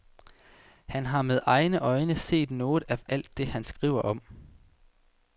Har han med egne øjne set noget af alt det, han skriver om?